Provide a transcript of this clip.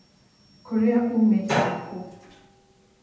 Kũrĩa umīte nĩ kũũ?